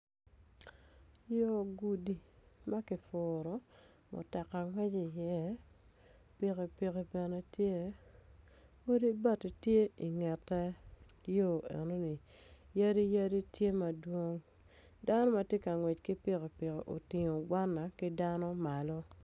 Yo gudi ma ki furu mutoka ngweci iye pikipiki bene tye odi bati tye ingete yo enoni yadi yadi tye madwong dan ma ti ka ngwec ki pikipik oting gwana ki dano malo